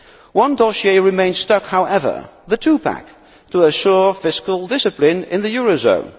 One dossier remains stuck, however the two pack to assure fiscal discipline in the eurozone.